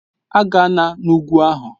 A gana n'ugwu ahụ!